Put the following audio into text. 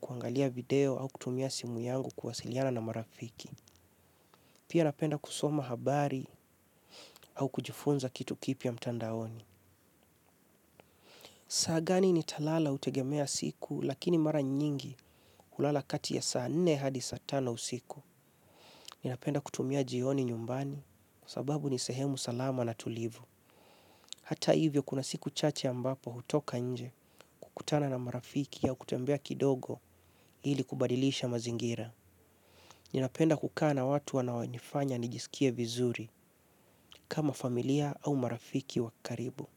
kuangalia video au kutumia simu yangu kuwasiliana na marafiki. Pia napenda kusoma habari au kujifunza kitu kipia mtandaoni. Sa gani ni talala utegemea siku lakini mara nyingi hulala kati ya saa nne hadi satano usiku. Ninapenda kutumia jioni nyumbani kuasababu nisehemu salama na tulivu. Hata hivyo kuna siku chache ambapo hutoka nje kutana na marafiki ya kutembea kidogo hili kubadilisha mazingira. Ninapenda kukana watu wanawo nifanya nijisikie vizuri kama familia au marafiki wakaribu.